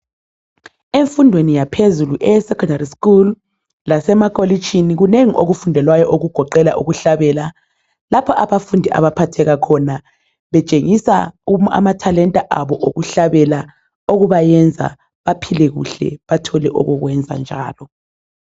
Emfundweni yaphezulu eyesekhondari lasemakolitshini kunengi okufundelwayo okugoqela ukuhlabela lapha abafundi abaphatheka khona betshengisa izipho zabo zokucula okubayenza baphile kuhle bathole okokwenza njalo.